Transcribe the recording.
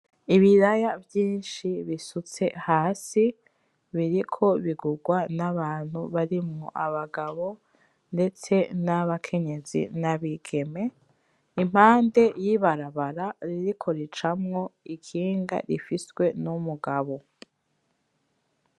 Ibiraya vyinshi bisutse hasi, biriko bigugwa n'abantu barimwo, abagabo, ndetse n'abakenyezi, n'abigeme. Impande y'ibarabara ririko ricamwo ikinga rifiswe n'umugabo.